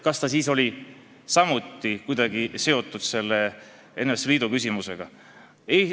Kas ta siis oli samuti kuidagi seotud selle NSV Liidu küsimusega?